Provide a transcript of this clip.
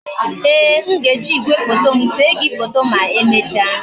Ee, m ga-eji igwefoto m see gi foto ma emecha